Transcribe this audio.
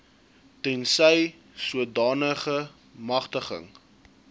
tensy sodanige magtiging